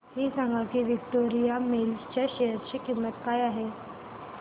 हे सांगा की विक्टोरिया मिल्स च्या शेअर ची किंमत काय आहे